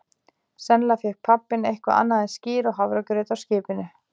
Sennilega fékk pabbi eitthvað annað en skyr og hafragraut á skipinu.